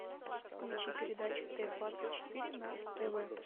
включи передачу т двадцать четыре на тв